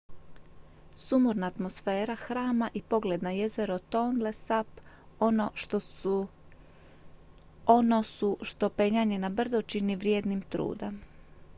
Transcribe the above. sumorna atmosfera hrama i pogled na jezero tonle sap ono su što penjanje na brdo čini vrijednim truda